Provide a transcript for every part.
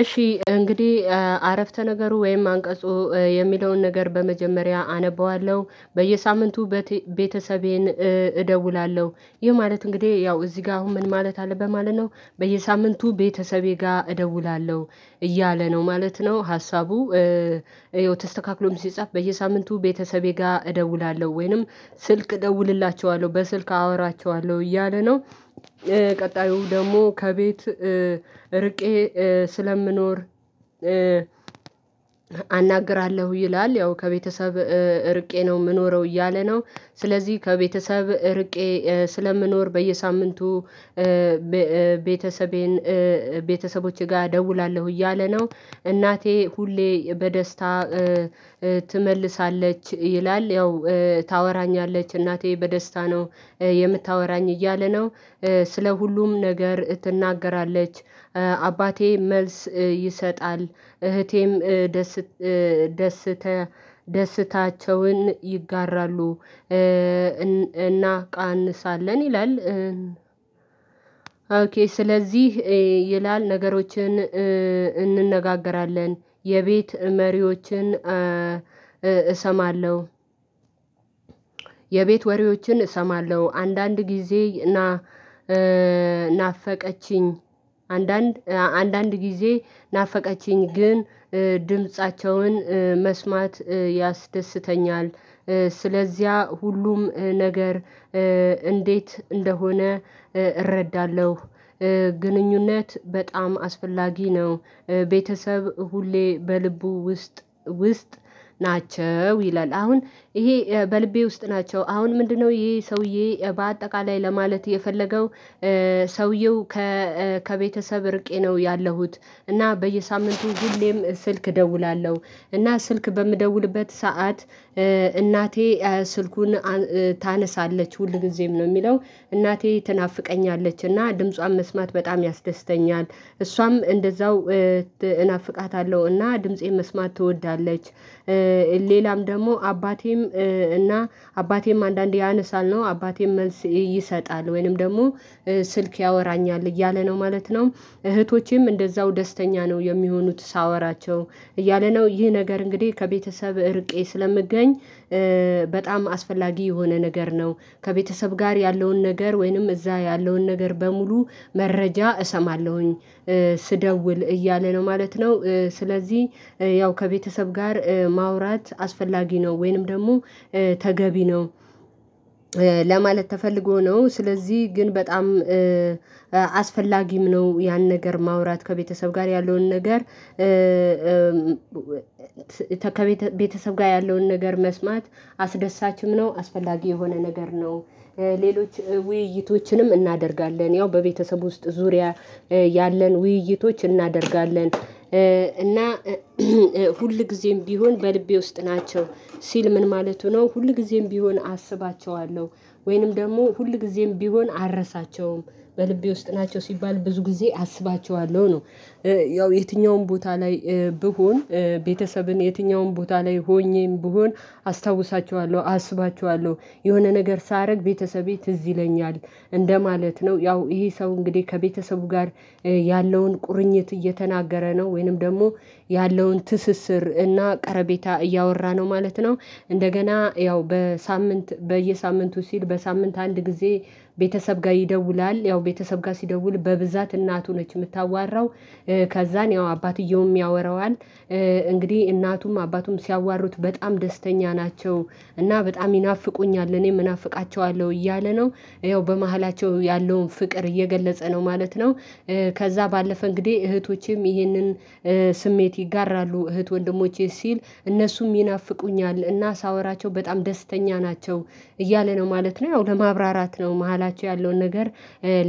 እሺ እንግዲህ አረፍተ ነገሩ ወይም አንቀጹ የሚለውን ነገር በመጀመሪያ አነበዋለሁ በየሳምንቱ ቤተሰቤን እደውላለሁ ይህ ማለት እንግዲህ ያው እዚህ ጋር አሁን ምን ማለት አለበት ማለት ነው በየሳምንቱ ቤተሰቤ ጋር እደውላለሁ እያለ ነው ማለት ነው ሀሳቡ ተስተካክሎም ሲጻፍ በየሳምንቱ ቤተሰቤ ጋር እደውላለሁ ወይንም ስልክ እደውልላቸዋለሁ በስልክ አወራቸዋለሁ እያለ ነው። ቀጣዩ ደግሞ ከቤት እርቄ ስለምኖር አናግራለሁ ይላል ያው ከቤተሰብ እርቄ ነው የምኖረው እያለ ነው። ስለዚህ ከቤተሰብ እርቄ ስለምኖር በየሳምንቱ ቤተሰቤን ቤተሰቦቼ ጋር እደውላለሁ እያለ ነው እናቴ ሁሌ በደስታ ትመልሳለች ይላል ያው ታወራኛለች እናቴ በደስታ ነው የምታወራኝ እያለ ነው። ስለ ሁሉም ነገር ትናገራለች አባቴ መልስ ይሰጣል እህቴም ደስታቸውን ይጋራሉ እናቃንሳለን ይላል ኦኬ ስለዚህ ይላል ነገሮችን እንነጋገራለን የቤት መሪዎችን እሰማለሁ የቤት ወሬዎችን እሰማለሁ አንዳንድ ጊዜ ናናፈቀችኝ አንዳንድ አንዳንድ ጊዜ ናፈቀችኝ ግን ድምፃቸውን መስማት ያስደስተኛል። ስለዚያ ሁሉም ነገር እንዴት እንደሆነ እረዳለሁ ግንኙነት በጣም አስፈላጊ ነው። ቤተሰብ ሁሌ በልቡ ውስጥ ውስጥ ናቸው ይላል። አሁን ይሄ በልቤ ውስጥ ናቸው አሁን ምንድነው ይሄ ሰውዬ በአጠቃላይ ለማለት የፈለገው? ሰውየው ከቤተሰብ እርቄ ነው ያለሁት እና በየሳምንቱ ሁሌም ስልክ እደውላለሁ እና ስልክ በምደውልበት ሰዓት እናቴ ስልኩን ታነሳለች ሁልጊዜም ነው የሚለው እናቴ ትናፍቀኛለች እና ድምጿን መስማት በጣም ያስደስተኛል እሷም እንደዛው እናፍቃታለሁ እና ድምፄን መስማት ትወዳለች። ሌላም ደግሞ አባቴም እና አባቴም አንዳንዴ ያነሳል ነው አባቴም መልስ ይሰጣል ወይንም ደግሞ ስልክ ያወራኛል እያለ ነው ማለት ነው። እህቶቼም እንደዛው ደስተኛ ነው የሚሆኑት ሳወራቸው እያለ ነው ይህ ነገር እንግዲህ ከቤተሰብ እርቄ ስለምገኝ በጣም አስፈላጊ የሆነ ነገር ነው። ከቤተሰብ ጋር ያለውን ነገር ወይንም እዛ ያለውን ነገር በሙሉ መረጃ እሰማለሁኝ ስደውል እያለ ነው ማለት ነው ስለዚህ ያው ከቤተሰብ ጋር ማውራት አስፈላጊ ነው ወይንም ደግሞ ተገቢ ነው። ለማለት ተፈልጎ ነው ስለዚህ ግን በጣም አስፈላጊም ነው ያን ነገር ማውራት ከቤተሰብ ጋር ያለውን ነገር ከቤተሰብ ጋር ያለውን ነገር መስማት አስደሳችም ነው አስፈላጊ የሆነ ነገር ነው። ሌሎች ውይይቶችንም እናደርጋለን ያው በቤተሰብ ውስጥ ዙሪያ ያለን ውይይቶች እናደርጋለን እና ሁልጊዜም ቢሆን በልቤ ውስጥ ናቸው ሲል ምን ማለቱ ነው ሁልጊዜም ቢሆን አስባቸዋለሁ ወይንም ደግሞ ሁልጊዜም ቢሆን አረሳቸውም በልቤ ውስጥ ናቸው ሲባል ብዙ ጊዜ አስባቸዋለሁ ነው። ያው የትኛውም ቦታ ላይ ብሆን ቤተሰብን የትኛውም ቦታ ላይ ሆኜም ብሆን አስታውሳችኋለሁ አስባችኋለሁ የሆነ ነገር ሳረግ ቤተሰቤ ትዝ ይለኛል እንደማለት ነው ያው ይሄ ሰው እንግዲህ ከቤተሰቡ ጋር ያለውን ቁርኝት እየተናገረ ነው ወይንም ደግሞ ያለውን ትስስር እና ቀረቤታ እያወራ ነው ማለት ነው። እንደገና ያው በሳምንት በየሳምንቱ ሲል በሳምንት አንድ ጊዜ ቤተሰብ ጋር ይደውላል ያው ቤተሰብ ጋር ሲደውል በብዛት እናቱ ነች የምታዋራው ከዛን ያው አባትየውም ያወራዋል እንግዲህ እናቱም አባቱም ሲያዋሩት በጣም ደስተኛ ናቸው እና በጣም ይናፍቁኛል እኔም እናፍቃቸዋለሁ እያለ ነው ያው በመሃላቸው ያለውን ፍቅር እየገለጸ ነው ማለት ነው። ከዛ ባለፈ እንግዲህ እህቶቼም ይህንን ስሜት ይጋራሉ እህት ወንድሞቼ ሲል እነሱም ይናፍቁኛል እና ሳወራቸው በጣም ደስተኛ ናቸው እያለ ነው ማለት ነው። ያው ለማብራራት ነው መሃላቸው ያለውን ነገር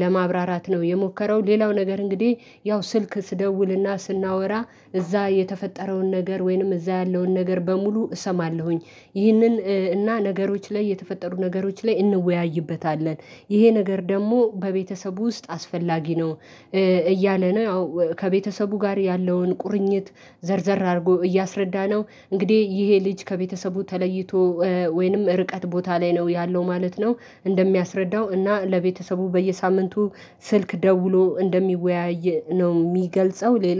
ለማብራራት ነው የሞከረው ሌላው ነገር እንግዲህ ያው ስልክ ስደውልና ስናወራ እዛ የተፈጠረውን ነገር ወይንም እዛ ያለውን ነገር በሙሉ እሰማለሁኝ ይህንን እና ነገሮች ላይ የተፈጠሩ ነገሮች ላይ እንወያይበታለን ይሄ ነገር ደግሞ በቤተሰቡ ውስጥ አስፈላጊ ነው። እያለ ነው ያው ከቤተሰቡ ጋር ያለውን ቁርኝት ዘርዘር አድርጎ እያስረዳነው እንግዲህ ይሄ ልጅ ከቤተሰቡ ተለይቶ ወይንም ርቀት ቦታ ላይ ነው ያለው ማለት ነው። እንደሚያስረዳው እና ለቤተሰቡ በየሳምንቱ ስልክ ደውሎ እንደሚወያይ ነው የሚገልጸው ሌላ